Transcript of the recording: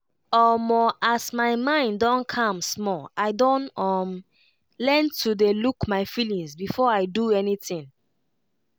omo as my mind don calm small i don um learn to dey look my feelings before i do anything.